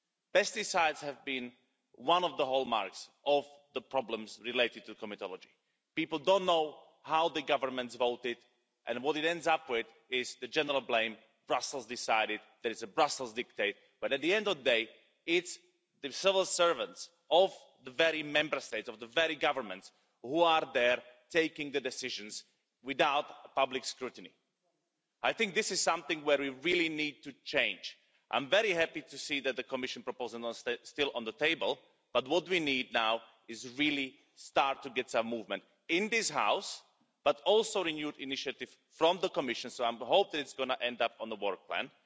Pesticides have been one of the hallmarks of the problems related to comitology. People don't know how the governments voted, and what it ends up with is the general blame Brussels decided, it's a Brussels diktat but at the end of the day, it's the civil servants of the very Member States, of the very governments, who are there, taking the decisions, without public scrutiny. I think this is something where we really need to change. I'm very happy to see that the Commission proposal is still on the table, but what we need now is really to start to get some movement in this House, but also with a renewed initiative from the Commission, so I hope that it's going to end up on the work plan,